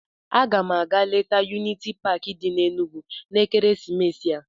Aga m aga leta yuniti paakị di n'Enugwu n'ekeresimesi a.